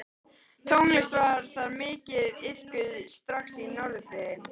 Tónlist var þar mikið iðkuð strax á Norðfirði.